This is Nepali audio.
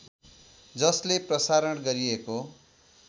जसले प्रसारण गरिएको